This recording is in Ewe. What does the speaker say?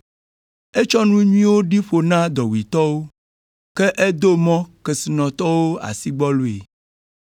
Etsɔ nu nyuiwo ɖi ƒo na dɔwuitɔwo, ke edo mɔ kesinɔtɔwo asigbɔloe.